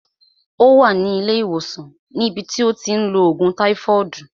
Ó wà ní ilé ìwòsàn ní bi tí ó ti ń lo ògùn táífọọdu